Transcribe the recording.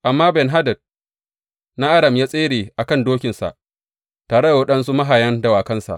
Amma Ben Hadad na Aram ya tsere a kan dokinsa tare da waɗansu mahayan dawakansa.